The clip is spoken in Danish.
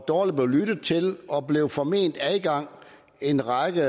dårligt blev lyttet til og blev forment adgang en række